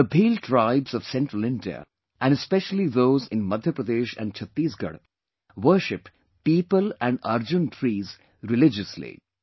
The Bhil tribes of Central India and specially those in Madhya Pradesh and Chhattisgarh worship Peepal and Arjun trees religiously